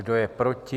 Kdo je proti?